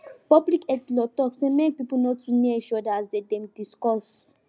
public health law talk say mek people no too near each other as dem dey discuss